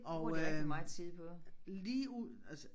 Og øh ligeud altså